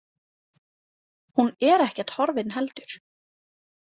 Hún er ekkert horfin heldur.